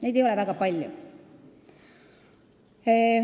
Neid ei ole väga palju.